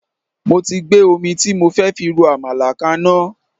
Mo ti gbé omi tí mo fẹ́ fi ro àmàlà kaná